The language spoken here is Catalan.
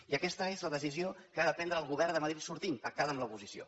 i aquesta és la decisió que ha de prendre el govern de madrid sortint pactada amb l’oposició